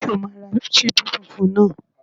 Ṣé o máa ra ṣíbí funfun náà?